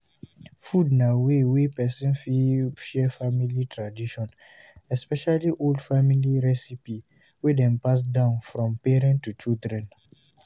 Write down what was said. Food na way wey person fit share family tradition, especially old family recipie wey dem pass down from parent to children